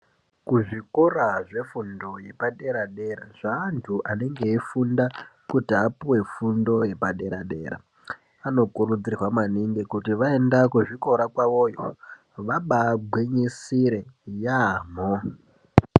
Kuzvikora zvefundo yepadera-dera zveantu anenge eifunda kuti apuve fundo yepadera-dera. Anokurudzirwa maningi kuti vaenda kuzvikora kwavoyo vabagwinyisire yaamho.